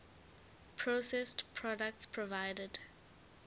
processed products provided